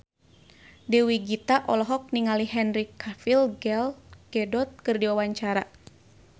Dewi Gita olohok ningali Henry Cavill Gal Gadot keur diwawancara